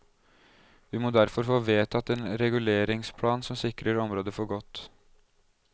Vi må derfor få vedtatt en reguleringsplan som sikrer området for godt.